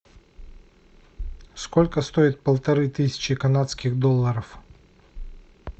сколько стоит полторы тысячи канадских долларов